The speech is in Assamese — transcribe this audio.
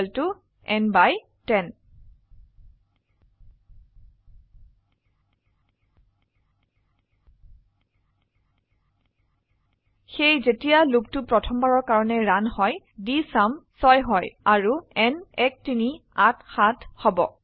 n n 10 সেয়ে যেতিয়া লুপটো প্ৰথমবাৰৰ কাৰনে ৰান হয় ডিএছইউএম 6 হয় আৰু n 1387 হব